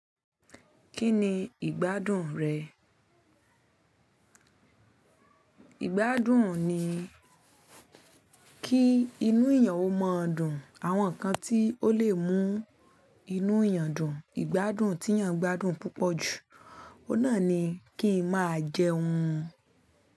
Kí ni ìgbádùn rẹ̀? Ìgbádùn ni kí inú èèyàn ó mọ dùn. Àwọn nǹkan tí ó lè mú inú èèyàn dùn, ìgbádùn tí èèyàn gbádùn púpọ̀ jù, ó náà ni kín máa jẹun.